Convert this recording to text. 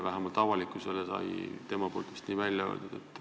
Vähemalt avalikkusele ta seda vist ütles.